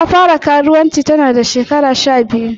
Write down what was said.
Ta fara karuwanci ta na shekara sha biyu.